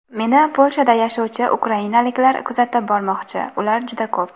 Meni Polshada yashovchi ukrainaliklar kuzatib bormoqchi, ular juda ko‘p.